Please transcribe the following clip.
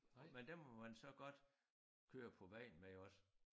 Men dem må man så godt køre på vejen med også